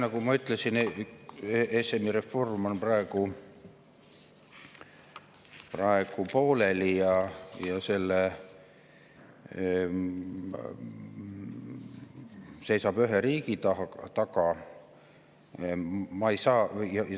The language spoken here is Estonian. Nagu ma ütlesin, ESM‑i reform on praegu pooleli ja seisab ühe riigi taga.